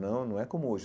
Não não é como hoje.